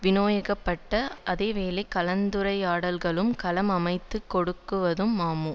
விநியோகிக்கப்பட்ட அதே வேளை கலந்துரையாடல்களுக்கும் களம் அமைத்து கொடுத்தது மமு